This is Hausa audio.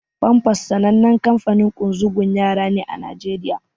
Pampers sanannen kanfanin ƙunzugun yara ne a Naijeriya.